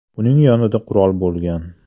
Uning yonida qurol bo‘lgan.